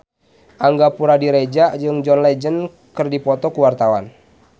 Angga Puradiredja jeung John Legend keur dipoto ku wartawan